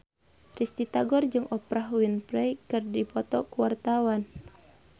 Risty Tagor jeung Oprah Winfrey keur dipoto ku wartawan